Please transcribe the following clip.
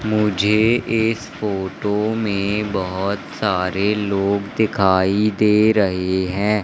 मुझे इस फोटो में बहोत सारे लोग दिखाई दे रहे हैं।